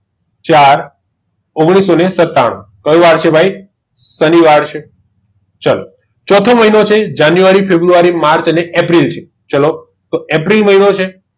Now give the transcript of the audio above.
ચાર ઓગણીસોને સત્તાણુ કયો વાર છે ભાઈ શનિવાર છે ચોથો મહિનો છે જાન્યુઆરી ફેરબરૂઆરી માર્ચ કયો વાર છે ભાઈ શનિવાર છે તો ચાલો એપ્રિલ મહિનો છે